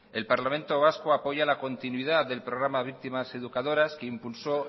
el parlamento vasco apoya la continuidad del programa víctimas educadoras que impulsó